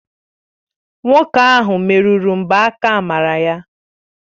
Nwoke ahụ merụrụ mgbaaka amara ya